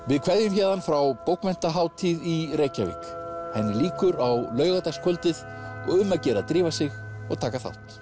við kveðjum héðan frá bókmenntahátíð í Reykjavík henni lýkur á laugardagskvöldið og um að gera að drífa sig og taka þátt